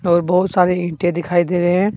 और बहुत सारे ईंटे दिखाई दे रहे है।